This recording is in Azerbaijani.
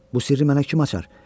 Bu sirri mənə kim açar?